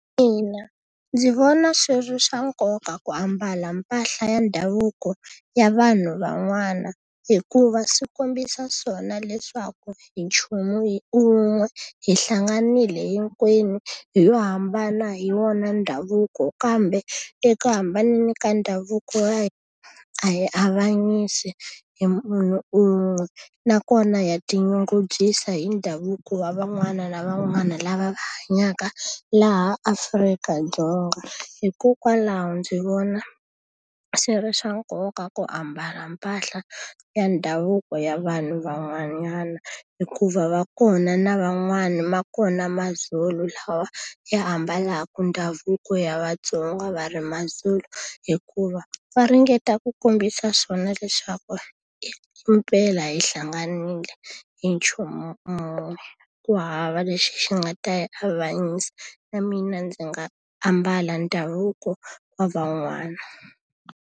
Ina ndzi vona swi ri swa nkoka ku ambala mpahla ya ndhavuko ya vanhu van'wana, hikuva swi kombisa swona leswaku hi nchumu wun'we, hi hlanganile hinkwenu hi lo hambana hi wona ndhavuko. Kambe eka hambaneni ka ndhavuko ya hina a hi avanyisi hi munhu un'we, nakona ha tinyungubyisa hi ndhavuko wa van'wana na van'wana lava hanyaka laha Afrika-Dzonga. Hikokwalaho ndzi vona swi ri swa nkoka ku ambala mpahla ya ndhavuko ya vanhu van'wanyana, hikuva va kona na van'wani ma kona maZulu lawa ya ambalaka ndhavuko ya vaTsonga va ri maZulu. Hikuva va ringeta ku kombisa swona leswaku himpela hi hlanganile hi nchumu un'we, ku hava lexi xi nga ta hi avanyisa. Na mina ndzi nga ambala ndhavuko wa van'wana.